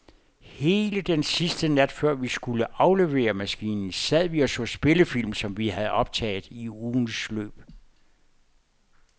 Hele den sidste nat, før vi skulle aflevere maskinen, sad vi og så spillefilm, som vi havde optaget i ugens løb.